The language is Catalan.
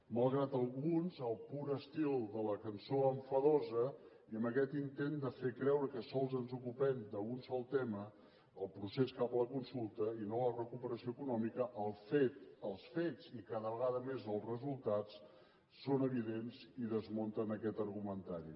malgrat alguns al pur estil de la cançó enfadosa i en aquest intent de fer creure que sols ens ocupem d’un sol tema el procés cap a la consulta i no a la recuperació econòmica el fet els fets i cada vegada més els resultats són evidents i desmunten aquest argumentari